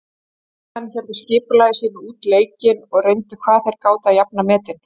Heimamenn héldu skipulagi sínu út leikinn og reyndu hvað þeir gátu að jafna metin.